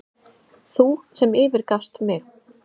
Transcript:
Þú sem yfirgafst mig.